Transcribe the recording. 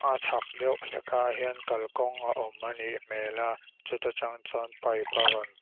a chhak deuh hlekah hian kalkawng a awm a nih hmel a chuta tang chuan pipe a rawn--